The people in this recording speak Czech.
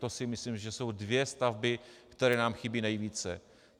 To si myslím, že jsou dvě stavby, které nám chybí nejvíce.